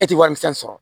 E tɛ warimisɛn sɔrɔ